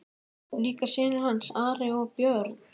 Og líka synir hans, Ari og Björn.